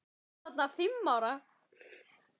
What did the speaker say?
Hún er þarna fimm ára.